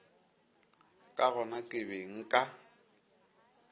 ka gona ke be nka